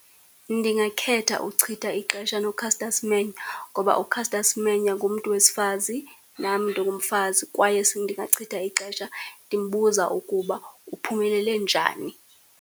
Ndingakhetha uchitha ixesha noCaster Semenya, ngoba uCaster Semenya ngumntu wesifazi nam ndingumfazi, kwaye ndingachitha ixesha ndimbuza ukuba uphumelele njani.